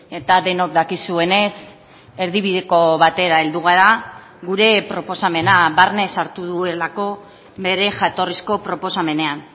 eta denok dakizuenez erdibideko batera heldu gara gure proposamena barne sartu duelako bere jatorrizko proposamenean